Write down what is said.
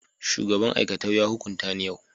shugaban aikatau ya hukunta ni yau